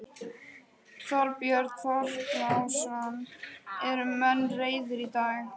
Björn Þorláksson: Eru menn reiðir í dag?